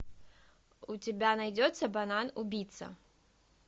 у тебя найдется банан убийца